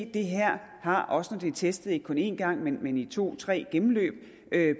det her har også når det er testet ikke kun en gang men men i to tre gennemløb